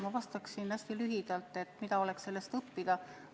Ma vastan hästi lühidalt, mida oleks sellest õppida.